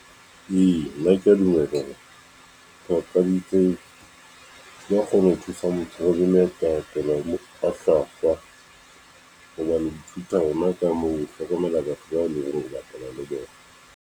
Eya, nna ke ya dumela hore papadi tse di ya kgona ho thusa motho ho dimela ka kena mokgwa hlwahlwa hoba le ithuta ona ka moo hlokomela batho ba leng hore o bapala le bona.